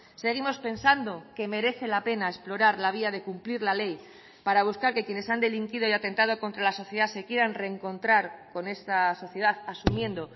seguimos pensando que merece la pena explorar la vía de cumplir la ley para buscar que quienes han delinquido y atentado contra la sociedad se quieran reencontrar con estas sociedad asumiendo